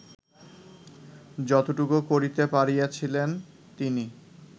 যতটুকু করিতে পারিয়াছিলেন তিনি